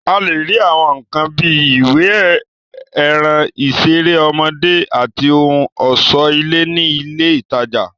A lè rí Àwọn nǹkan bíi ìwé, ẹran, ìṣeré ọmọdé, àti ohun ọ̀ṣọ́ ilé ní ilé ìtajà